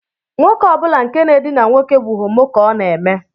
Nwoke ọ bụla nke na-edina nwoke bụ homo ka ha na-eme